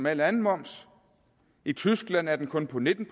al anden moms i tyskland er den kun på nitten